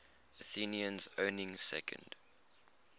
athenians owning second